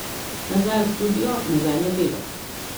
Nazaj v studio, nazaj na delo.